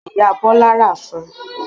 Penicillin ni Ìyá Bọ́lá rà fún